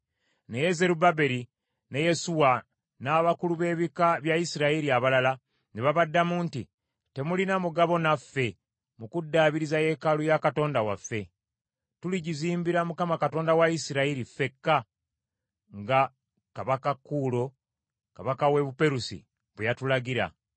Naye Zerubbaberi ne Yesuwa n’abakulu b’ebika bya Isirayiri abalala ne babaddamu nti, “Temulina mugabo naffe mu kuddaabiriza yeekaalu ya Katonda waffe. Tuligizimbira Mukama Katonda wa Isirayiri ffekka, nga kabaka Kuulo kabaka w’e Buperusi bwe yatulagira.”